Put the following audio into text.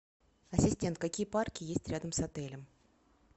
ассистент какие парки есть рядом с отелем